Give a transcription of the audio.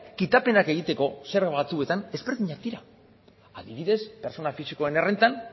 kitapenak egiteko zerga batzuetan ezberdinak dira adibidez pertsona fisikoen errentan